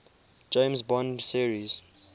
james bond series